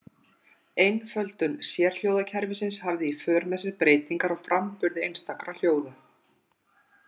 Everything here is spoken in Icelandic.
Einföldun sérhljóðakerfisins hafði í för með sér breytingar á framburði einstakra hljóða.